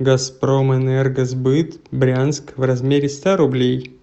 газпромэнергосбыт брянск в размере ста рублей